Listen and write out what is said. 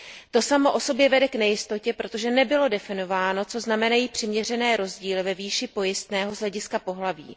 To samo o sobě vede k nejistotě, protože nebylo definováno, co znamenají přiměřené rozdíly ve výši pojistného z hlediska pohlaví.